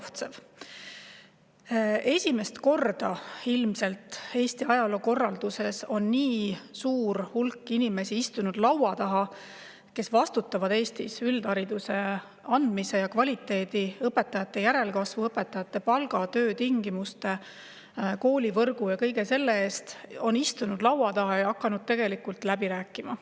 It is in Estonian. Ilmselt esimest korda Eesti riigikorralduse ajaloos on istunud laua taha nii suur hulk inimesi, kes vastutavad Eestis üldhariduse andmise ja selle kvaliteedi, õpetajate järelkasvu, õpetajate palga, töötingimuste, koolivõrgu ja kõige selle eest, ja hakanud läbi rääkima.